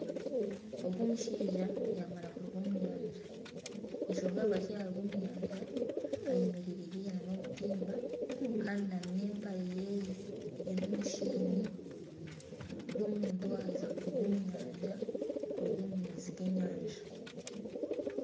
Ogu omushaija yamara kuruga omu nyanja. Enshonga ahabwaki yaruga omu nyanja ayemereire haihi nana obutimba Kandi n'empare ye erimu omushenyi gw'omuntu ayaheza kuruga omu nyanja kuruga omu maizi g'enyanja.